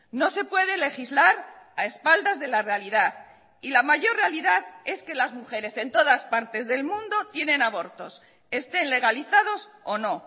no se puede legislar a espaldas de la realidad y la mayor realidad es que las mujeres en todas partes del mundo tienen abortos estén legalizados o no